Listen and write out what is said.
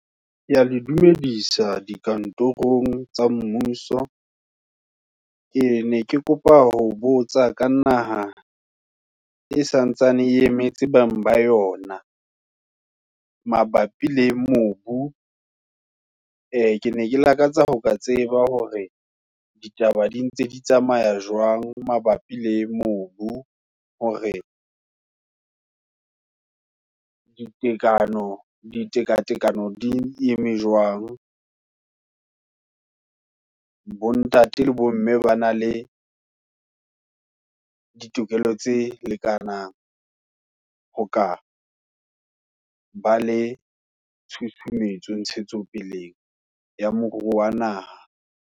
Kea le dumedisa, dikantorong tsa mmuso. Ke ne ke kopa ho botsa ka naha, e santsane e emetse bang ba yona, mabapi le mobu, e kene, ke lakatsa ho ka tseba hore, ditaba di ntse di tsamaya jwang mabapi le mobu, hore di tekano, ditekatekano di eme jwang. Bontate le bomme, ba na le ditokelo tse lekanang, hokaba le tshusumetso, ntshetsopeleng ya moruo wa naha.